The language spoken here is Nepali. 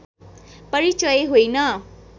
परिचय होइन